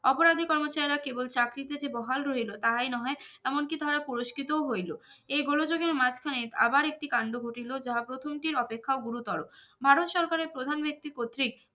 অপরাধী কর্মচারীরা কেবল চাকরি পেতে বহাল হইল তাই নহে এমনকি তারা পুরস্কৃত ও হইল এই গোলোযোগের মাঝখানে আবার একটি কাণ্ড ঘটিলো যাহা প্রথম টির অপেক্ষাও গুরু তরো ভারত সরকারের প্রধান ব্যক্তি কর্তৃক